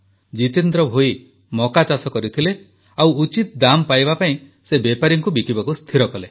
ଜିତେନ୍ଦ୍ର ଭୋଇ ମକା ଚାଷ କରିଥିଲେ ଓ ଉଚିତ ଦାମ ପାଇବା ପାଇଁ ସେ ବେପାରୀଙ୍କୁ ବିକିବାକୁ ସ୍ଥିର କଲେ